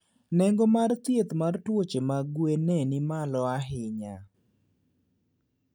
Nengo mar thieth mar tuoche mag gwen ne ni malo ahinya.